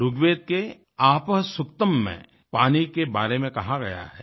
ऋग्वेद के आपः सुक्तम् में पानी के बारे में कहा गया है